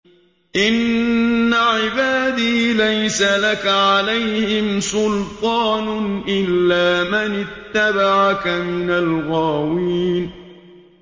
إِنَّ عِبَادِي لَيْسَ لَكَ عَلَيْهِمْ سُلْطَانٌ إِلَّا مَنِ اتَّبَعَكَ مِنَ الْغَاوِينَ